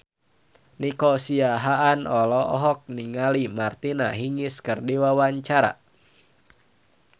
Nico Siahaan olohok ningali Martina Hingis keur diwawancara